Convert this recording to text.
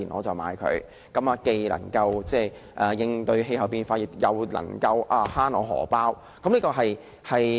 這樣既能夠應對氣候變化，亦能夠節省金錢。